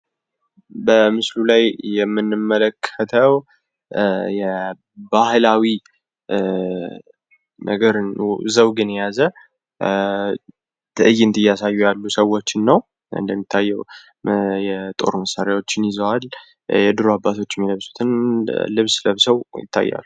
በምስሉ ላይ የምንመለከተው የባህላዊ ዘውግን የያዘ ትዕይንት እያሳዩ ያሉ ሰዎችን ነው፡፡ እንደሚታየው የጦር መሳሪያዎችን ይዘዋል ፣ የድሮ አባቶች የሚለብሱትን ልብስ ለብሰው ይታያሉ፡፡